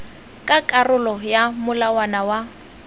ka karolo ya molawana wa